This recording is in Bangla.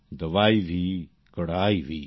দবাই ভী কড়াই ভী